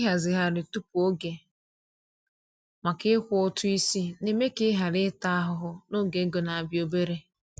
Ịhazigharị tupu oge maka ịkwụ ụtụ isi na-eme ka ị ghara ịta ahụhụ n’oge ego na-abịa obere.